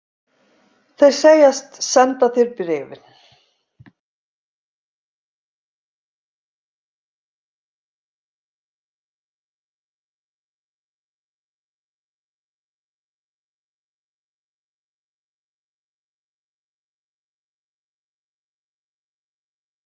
Þeir segjast senda þér bréfin.